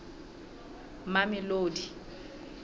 mamelodi